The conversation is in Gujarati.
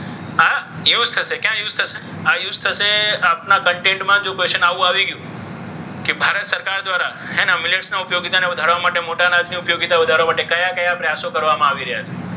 હા એવું જ થશે કેમ એવું જ થશે? આ use થશે. આપણા content માં જો question આવું આવી ગયું. કે ભારત સરકાર દ્વારા millets ના ઉપયોગીતાને વધારવા મોટા અનાજના ઉપયોગિતાને વધારવા માટે કયા કયા પ્રયાસો કરવામાં આવી રહ્યા છે?